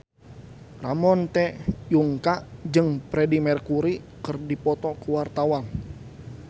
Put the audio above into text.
Ramon T. Yungka jeung Freedie Mercury keur dipoto ku wartawan